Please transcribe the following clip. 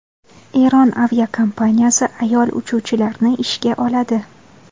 Eron aviakompaniyasi ayol uchuvchilarni ishga oladi.